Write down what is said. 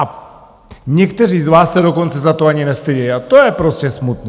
A někteří z vás se dokonce za to ani nestydí a to je prostě smutný.